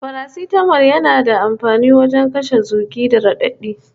Farastamol yana da amfani wajen kashe zugi da raɗaɗi